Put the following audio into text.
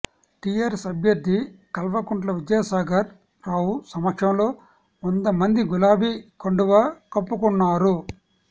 TRS అభ్యర్థి కల్వకుంట్ల విద్యాసాగర్ రావు సమక్షంలో వంద మంది గులాబీ కండువా కప్పుకున్నారు